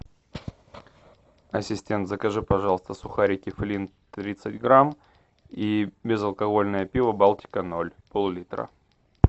ассистент закажи пожалуйста сухарики флинт тридцать грамм и безалкогольное пиво балтика ноль пол литра